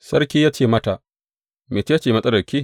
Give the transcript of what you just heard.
Sarki ya ce mata, Mece ce matsalarki?